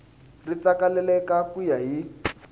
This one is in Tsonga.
ri tsakelaka ku ya hi